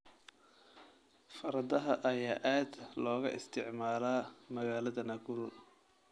Fardaha ayaa aad looga isticmaalaa magaalada Nakuru.